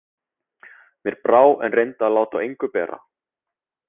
Mér brá en reyndi að láta á engu bera.